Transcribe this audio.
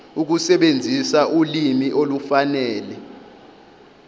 ukusebenzisa ulimi olufanele